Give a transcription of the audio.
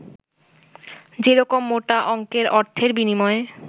যেরকম মোটা অংকের অর্থের বিনিময়ে